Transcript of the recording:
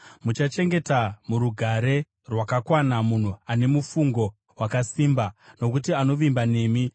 Muchachengeta murugare rwakakwana munhu ane mufungo wakasimba, nokuti anovimba nemi.